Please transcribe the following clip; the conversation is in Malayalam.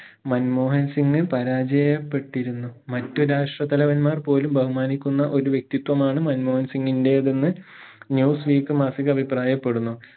മൻമോഹൻ സിംഗ് പരാജയപ്പെട്ടിരുന്നു മറ്റു രാഷ്ട്ര തലവന്മാർ പോലും ബഹുമാനിക്കുന്ന ഒരു വ്യക്തിത്വമാണ് മൻമോഹൻ സിംഗിന്റെതെന്ന് news week മാസിക അഭിപ്രായപ്പെടുന്നു